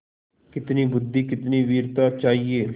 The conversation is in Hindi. कितनी बुद्वि कितनी वीरता चाहिए